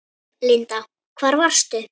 Linda: Hvar varstu?